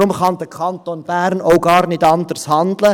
Daher kann der Kanton Bern auch gar nicht anders handeln: